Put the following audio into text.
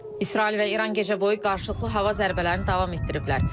İsrail və İran gecə boyu qarşılıqlı hava zərbələrini davam etdiriblər.